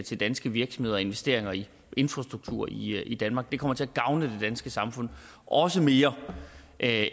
til danske virksomheder og investeringer i infrastruktur i i danmark det kommer til at gavne det danske samfund også mere end at